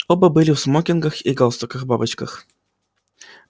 оба были в смокингах и галстуках-бабочках